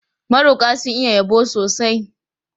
Maroƙa sun iya yabo sosai.